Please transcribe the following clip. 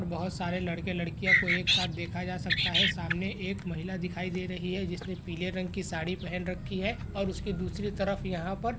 बहुत सारे लड़के लड़किया को एक साथ देखा जा सकता है। सामने एक महिला दिखाई दे रही है। जिसने पीले रंग की साड़ी पहन रखी है और उसके दूसरे तरफ यहाँ पर --